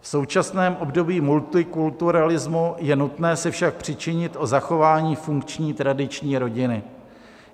V současném období multikulturalismu je nutné se však přičinit o zachování funkční tradiční rodiny.